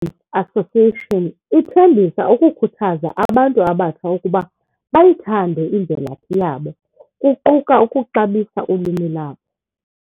Association ithembisa ukukhuthaza abantu abatsha ukuba bayithande imvelapho yabo, kuquka ukuxabisa ulwimi labo.